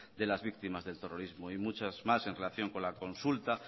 de las víctimas del terrorismo y muchas más en relación con la consulta